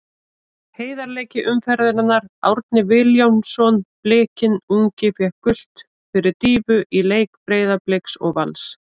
Heiðarleiki umferðarinnar: Árni Vilhjálmsson Blikinn ungi fékk gult fyrir dýfu í leik Breiðabliks og Vals.